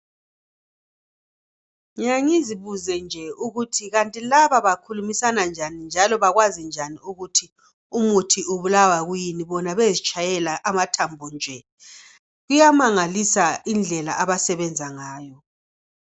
Ngiyangizibuze nje ukuthi kanti laba bakhulumisana njani njalo bakwazi njani ukuthi umuntu ubulawa yikuyini bona bezitshayela amathambo nje iyamangalisa indlela abasebenza ngayo.